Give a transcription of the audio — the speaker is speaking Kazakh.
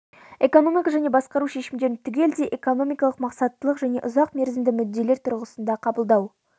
экономикалық және басқару шешімдерін түгелдей экономикалық мақсаттылық және ұзақ мерзімді мүдделер тұрғысында қабылдау